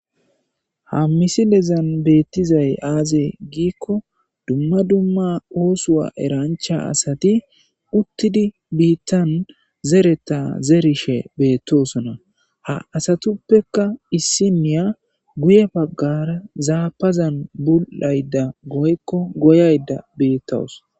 Ha misile dezan beettizay aaze giikko dumma dumma oosuwa erancha asati uttidi biittan zereta zerishe beettosona ha asatuppeka issi niya guye baggara zaapazan bu7ayda goykko goyayda biittawus